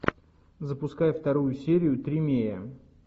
запускай вторую серию тримея